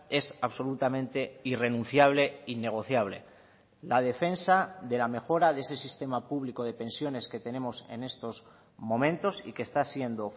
es absolutamente irrenunciable e innegociable la defensa de la mejora de ese sistema público de pensiones que tenemos en estos momentos y que está siendo